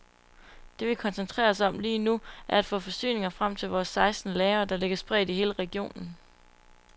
Det vi koncentrerer os om lige nu, er at få forsyninger frem fra vores seksten lagre, der ligger spredt i hele regionen.